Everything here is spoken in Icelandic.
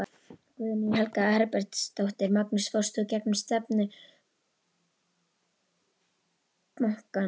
Guðný Helga Herbertsdóttir: Magnús fórst þú gegn stefnu bankans?